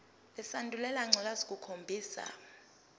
lesandulela ngculazi lukhombisa